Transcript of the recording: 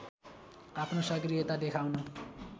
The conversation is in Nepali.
आफ्नो सक्रियता देखाउन